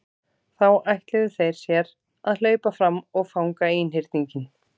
Þá ætluðu þeir sér að hlaupa fram og fanga einhyrninginn.